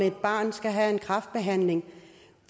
et barn skal have en kræftbehandling